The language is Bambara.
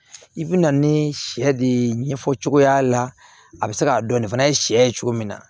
I bi na ni sɛ de ɲɛfɔcogoya la a bɛ se k'a dɔn nin fana ye sɛ ye cogo min na